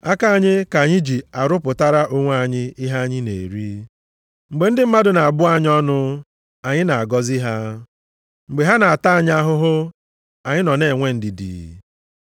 Aka anyị ka anyị ji arụpụtara onwe anyị ihe anyị na-eri. Mgbe ndị mmadụ na-abụ anyị ọnụ, anyị na-agọzi ha. Mgbe ha na-ata anyị ahụhụ, anyị nọ na-enwe ndidi.